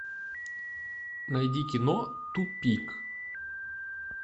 найди кино тупик